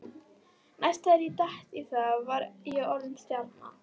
Næst þegar ég datt í það var ég orðinn stjarna.